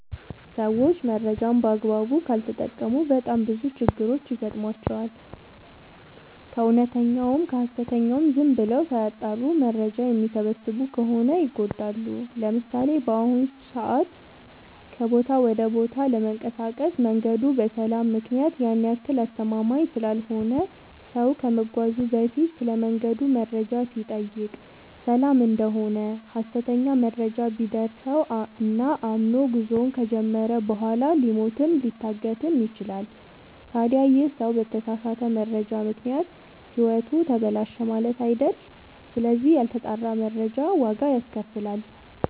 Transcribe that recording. ሰዎች መረጃን በአግባቡ ካልተጠቀሙ በጣም ብዙ ችግሮች ይገጥሟቸዋል። ከእውነተኛውም ከሀሰተኛውም ዝም ብለው ሳያጠሩ መረጃ የሚሰበስቡ ከሆነ ይጎዳሉ። ለምሳሌ፦ በአሁኑ ሰዓት ከቦታ ወደ ቦታ ለመንቀሳቀስ መንገዱ በሰላም ምክንያት ያን ያክል አስተማመምኝ ስላልሆነ ሰው ከመጓዙ በፊት ስለመንገዱ መረጃ ሲጠይቅ ሰላም እደሆነ ሀሰተኛ መረጃ ቢደርሰው እና አምኖ ጉዞውን ከጀመረ በኋላ ሊሞትም ሊታገትም ይችላል። ታዲ ይህ ሰው በተሳሳተ መረጃ ምክንያት ህይወቱ ተበላሸ ማለት አይደል ስለዚህ ያልተጣራ መረጃ ዋጋ ያስከፍላል።